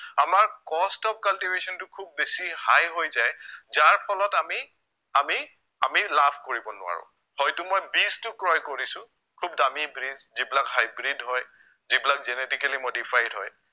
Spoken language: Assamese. আমাৰ cost of cultivation টো খুউব বেছি high হৈ যায় যাৰ ফলত আমি আমি আমি লাভ কৰিব নোৱাৰো, হয়তো মই best টো ক্ৰয় কৰিছো খুউব দামি বীজ যিবিলাক hybrid হয় যিবিলাক genetically modified হয়